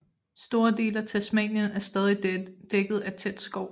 Store dele af Tasmanien er stadig dækket af tæt skov